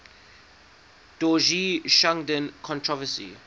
dorje shugden controversy